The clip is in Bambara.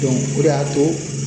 o de y'a to